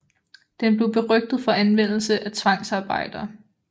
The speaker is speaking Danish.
Den blev berygtet for anvendelse af tvangsarbejdere